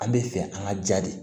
An bɛ fɛ an ka jaa de